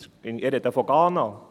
Ich spreche von Ghana.